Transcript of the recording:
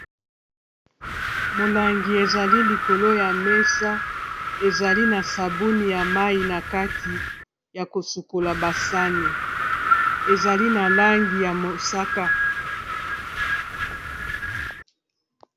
Molangi ezali likolo ya mesa ezali na sabuni ya mai na kati ya kosukola basani ezali na langi ya mosaka.